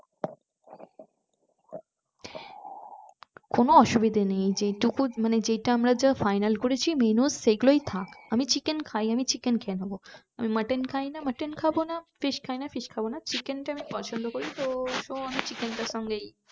কোন অসুবিধা নেই যেটুকু মানে যেটা আমরা final করেছি menu সেগুলোই থাক আমি chicken খাই আমি chicken খেয়ে নেব mutton খায় না mutton খাব না fish খায় না fish খাব না chicken তা আমি পছন্দ করি তো আমি চিকেনটার সঙ্গেই